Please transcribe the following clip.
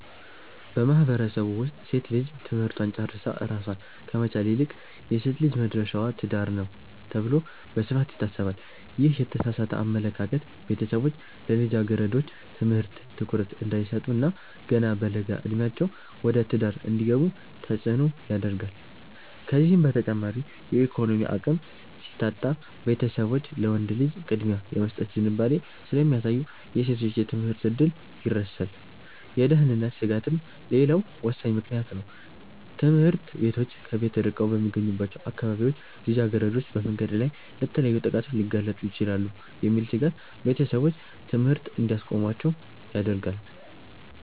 በማህበረሰቡ ውስጥ ሴት ልጅ ትምህርቷን ጨርሳ ራሷን ከመቻል ይልቅ "የሴት ልጅ መድረሻዋ ትዳር ነው" ተብሎ በስፋት ይታሰባል። ይህ የተሳሳተ አመለካከት ቤተሰቦች ለልጃገረዶች ትምህርት ትኩረት እንዳይሰጡ እና ገና በለጋ ዕድሜያቸው ወደ ትዳር እንዲገቡ ተጽዕኖ ያደርጋል። ከዚህም በተጨማሪ የኢኮኖሚ አቅም ሲታጣ፣ ቤተሰቦች ለወንድ ልጅ ቅድሚያ የመስጠት ዝንባሌ ስለሚያሳዩ የሴቶች የትምህርት ዕድል ይረሳል። የደህንነት ስጋትም ሌላው ወሳኝ ምክንያት ነው፤ ትምህርት ቤቶች ከቤት ርቀው በሚገኙባቸው አካባቢዎች ልጃገረዶች በመንገድ ላይ ለተለያዩ ጥቃቶች ሊጋለጡ ይችላሉ የሚል ስጋት ቤተሰቦች ትምህርት እንዲያስቆሟቸው ያደርጋል።